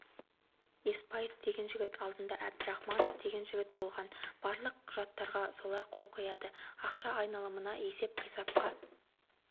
еспаев деген жігіт алдында әбдірахманов деген жігіт болған барлық құжаттарға солар қол қояды ақша айналымына есеп-қисапқа